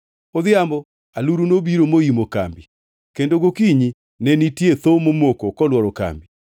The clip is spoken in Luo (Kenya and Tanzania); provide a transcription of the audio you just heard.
Odhiambono, aluru nobiro moimo kambi kendo gokinyi ne nitie thoo momoko koluoro kambi.